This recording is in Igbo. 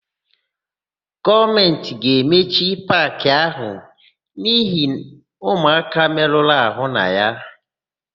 Gọọmentị ga-emechi paakị áhụ̀ n'ihi ụmụaka merụrụ àhụ́ na ya.